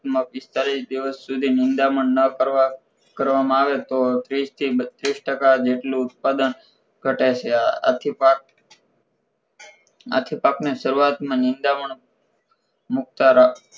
માં પિસ્તાળીસ દિવસ સુધી મૂંડામણ ન કરવામાં આવે તો ત્રીસ થી બત્રીસ ટકા જેટલું ઉત્પાદન ઘટે છે આથી પાક આથી પાકને સરૂઆત માં નીંદામણ મુક્તા રાખ